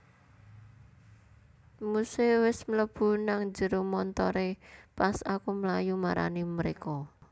Muse wes mlebu nang njero montore pas aku mlayu marani mereka